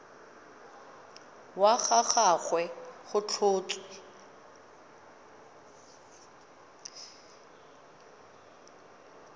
wa ga gagwe go tlhotswe